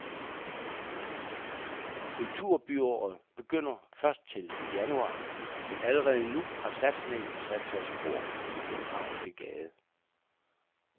Kulturbyåret begynder først til januar, men allerede nu har satsningen sat sig spor i det københavnske gade.